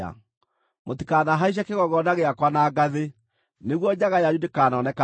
Mũtikanahaice kĩgongona gĩakwa na ngathĩ, nĩguo njaga yanyu ndĩkanonekanĩre ho.’